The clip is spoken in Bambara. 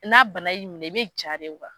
N'a bana y'i minɛ i bɛ ja de